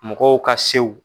Mɔgɔw ka sew.